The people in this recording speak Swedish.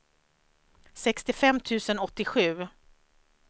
sextiofem tusen åttiosju